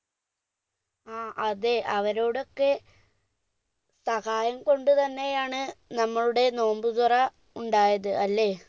ആ അതെ അവരോടൊക്കെ സഹായം കൊണ്ട് തന്നെയാണ് നമ്മളുടെ നോമ്പ് തുറ ഉണ്ടായത് അല്ലെ